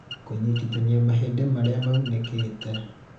kũnyitithanĩa mahĩndĩ marĩa maunĩkĩte